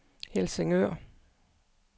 Helsingør